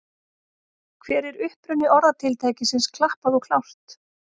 Hver er uppruni orðatiltækisins klappað og klárt?